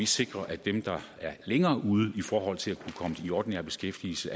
sikre at dem der er længere ude i forhold til at kunne komme i ordinær beskæftigelse